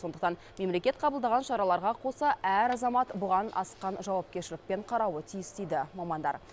сондықтан мемлекет қабылдаған шараларға қоса әр азамат бұған асқан жауапкершілікпен қарауы тиіс дейді мамандар